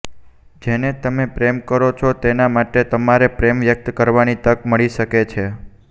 જેને તમે પ્રેમ કરો છો તેના માટે તમારે પ્રેમ વ્યક્ત કરવાની તક મળી શકે છે